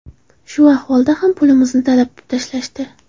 Shu ahvolida ham pulimizni talab tashlashdi.